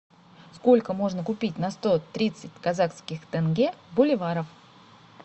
сколько можно купить на сто тридцать казахских тенге боливаров